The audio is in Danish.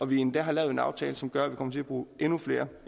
vi endda har lavet en aftale som gør at vi kommer til at bruge endnu flere